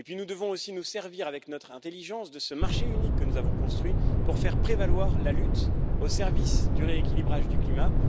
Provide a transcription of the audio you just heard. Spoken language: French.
Enfin, nous devons aussi nous servir, avec notre intelligence, de ce marché unique que nous avons construit pour faire prévaloir la lutte au service du rééquilibrage du climat.